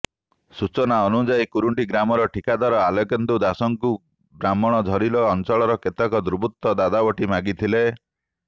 ସୂଚନା ଅନୁଯାୟୀ କୁରୁଣ୍ଟି ଗ୍ରାମର ଠିକାଦାର ଆଲୋକେନ୍ଦୁ ଦାଶଙ୍କୁ ବ୍ରାହ୍ମଣଝରିଲୋ ଅଞ୍ଚଳର କେତେକ ଦୁର୍ବୃତ୍ତ ଦାଦା ବଟି ମାଗିଥିଲେ